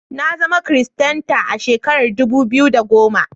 Na zama kiristanta a shekarar dubu biyu da goma.